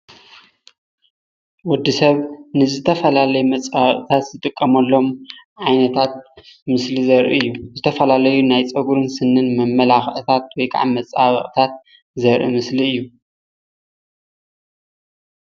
ወዲ ሰብ ንዝተፈላለዩ መፃባበቂታት ዝጥቀመሎም ዓይነታት ምስሊ ዘርኢ እዩ፡፡ ዝተፈላለዩ ናይ ፀጉርን ስኒን መመላኪዒታት ወይ ከዓ መፀባበቂታት ዘርኢ ምስሊ እዩ፡፡